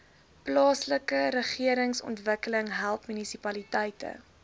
plaaslikeregeringsontwikkeling help munisipaliteite